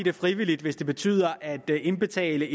er frivilligt hvis det betyder at det at indbetale